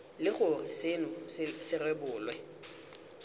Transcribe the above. le gore seno se rebolwe